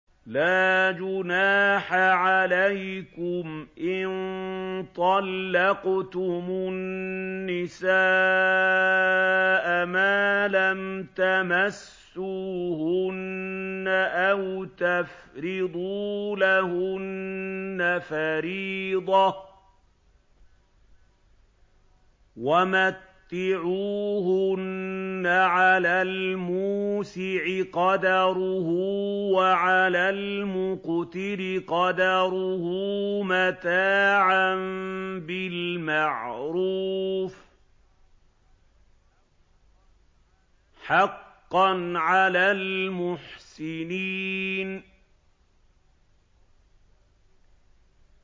لَّا جُنَاحَ عَلَيْكُمْ إِن طَلَّقْتُمُ النِّسَاءَ مَا لَمْ تَمَسُّوهُنَّ أَوْ تَفْرِضُوا لَهُنَّ فَرِيضَةً ۚ وَمَتِّعُوهُنَّ عَلَى الْمُوسِعِ قَدَرُهُ وَعَلَى الْمُقْتِرِ قَدَرُهُ مَتَاعًا بِالْمَعْرُوفِ ۖ حَقًّا عَلَى الْمُحْسِنِينَ